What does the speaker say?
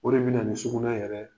O de bɛna na nin sugunƐ yɛrɛ